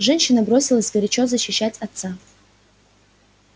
женщина бросилась горячо защищать отца